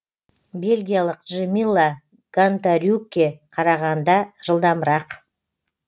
бельгиялық джемилла гонтарюкке қарағанда жылдамырақ